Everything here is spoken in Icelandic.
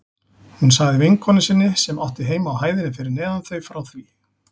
Hún sagði vinkonu sinni sem átti heima á hæðinni fyrir neðan þau frá því.